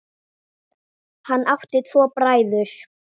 Hann átti tvo bræður.